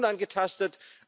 Sie bleiben unangetastet.